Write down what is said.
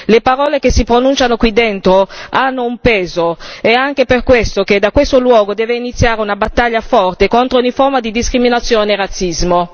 Le parole che si pronunciano qui dentro hanno un peso ed è anche per questo che da questo luogo deve iniziare una battaglia forte contro ogni forma di discriminazione e razzismo.